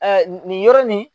nin yɔrɔ nin